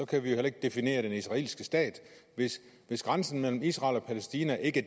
kan vi ikke definere den israelske stat hvis grænsen mellem israel og palæstina ikke